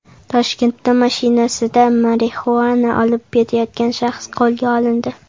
Toshkentda mashinasida marixuana olib ketayotgan shaxs qo‘lga olindi.